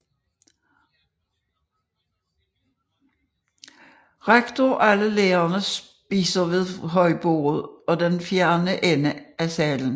Rektor og alle lærerne spiser ved højbordet i den fjerne ende af salen